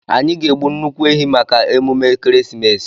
Anyị ga-egbu nnukwu ehi maka emume ekeresimesi.